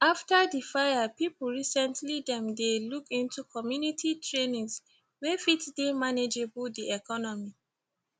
after di fire pipu recently dem dey look into community trainings wey fit dey manageable di economy